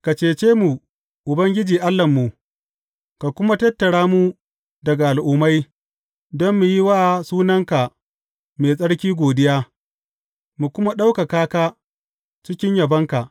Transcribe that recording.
Ka cece mu, Ubangiji Allahnmu, ka kuma tattara mu daga al’ummai, don mu yi wa sunanka mai tsarki godiya mu kuma ɗaukaka cikin yabonka.